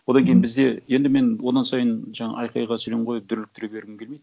одан кейін бізде енді мен одан сайын жаңа айқайға сөйлем қойып дүрліктіре бергім келмейді